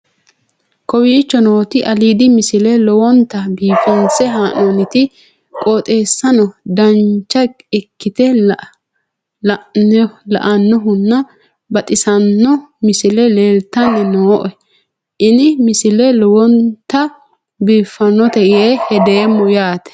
kowicho nooti aliidi misile lowonta biifinse haa'noonniti qooxeessano dancha ikkite la'annohano baxissanno misile leeltanni nooe ini misile lowonta biifffinnote yee hedeemmo yaate